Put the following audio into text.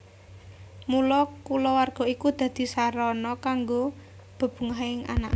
Mula kulawarga iku dadi sarana kanggo bebungahing anak